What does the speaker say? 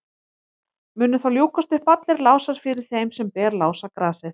munu þá ljúkast upp allir lásar fyrir þeim sem ber lásagrasið